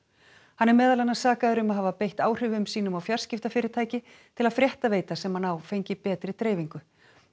hann er meðal annars sakaður um að hafa beitt áhrifum sínum á fjarskiptafyrirtæki til að fréttaveita sem hann á fengi betri dreifingu